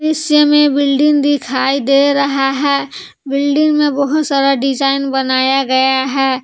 दृश्य में बिल्डिंग दिखाई दे रहा है बिल्डिंग में बहुत सारा डिजाइन बनाया गया है।